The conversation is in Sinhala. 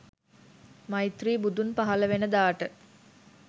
මෛත්‍රී බුදුන් පහල වෙන දාට